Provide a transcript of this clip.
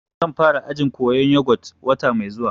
Zan fara ajin koyan yogut wata mai zuwa